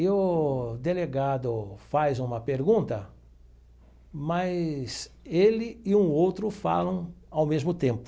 E o delegado faz uma pergunta, mas ele e um outro falam ao mesmo tempo.